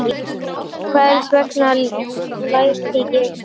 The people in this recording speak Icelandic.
Hvers vegna læt ég svona?